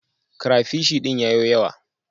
Crapishi din ya yo yawa.